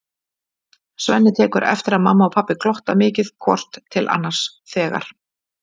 Svenni tekur eftir að mamma og pabbi glotta mikið hvort til annars þegar